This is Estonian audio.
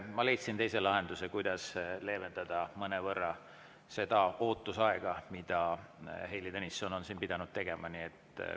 Ma leidsin teise lahenduse, kuidas mõnevõrra leevendada seda ootusaega, mida Heili Tõnisson on siin pidanud.